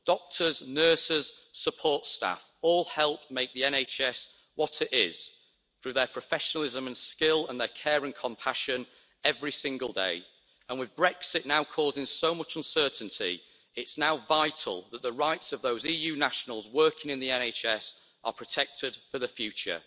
Doctors, nurses, support staff all help make the NHS what it is through their professionalism and skill and their care and compassion every single day, and with Brexit now causing so much uncertainty, it's now vital that the rights of those EU nationals working in the NHS are protected for the future.